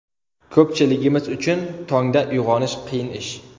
Ko‘pchiligimiz uchun tongda uyg‘onish qiyin ish.